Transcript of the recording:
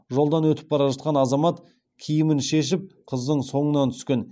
жолдан өтіп бара жатқан азамат киімін шешіп қыздың соңынан түскен